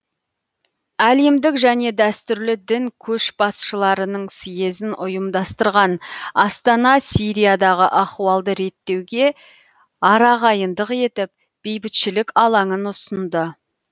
әлемдік және дәстүрлі дін көшбасшыларының съезін ұйымдастырған астана сириядағы ахуалды реттеуге арағайындық етіп бейбітшілік алаңын ұсынды